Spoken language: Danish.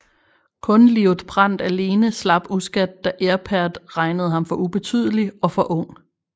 Kun Liutprand alene slap uskadt da Aripert regnede ham for ubetydelig og for ung